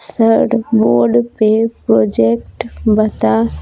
sir board पे project बता --